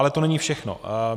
Ale to není všechno.